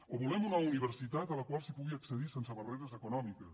o volem una universitat a la qual s’hi pugui accedir sense barreres econòmiques